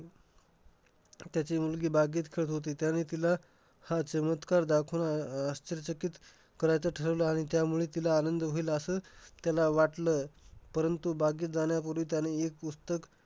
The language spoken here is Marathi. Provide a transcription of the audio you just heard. त्याची मुलगी बागेत खेळात होती. त्यावेळी तिला हा चमत्कार दाखवणार अह आश्चर्यचकित करायचं ठरवलं आणि त्यामुळे तिला आनंद होईल असं त्याला वाटलं. परंतु, बागेत जाण्यापूर्वी त्याने एक पुस्तक